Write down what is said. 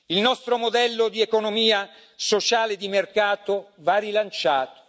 Il nostro modello di economia sociale di mercato va rilanciato.